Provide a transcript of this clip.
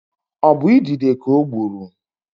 Ọ bụ idide ka ọ gburu?